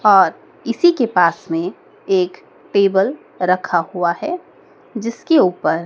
और इसी के पास में एक टेबल रखा हुआ है जिसके ऊपर--